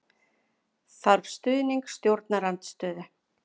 Þarf stuðning stjórnarandstöðu